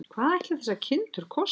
Hvað ætli þessar kindur kosti?